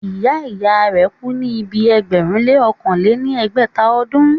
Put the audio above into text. ìyá ìyá rẹ̀ kú ní ibi ẹgbẹ̀rún lé ọ̀kàn lé ní ẹgbẹ́ta ọdún.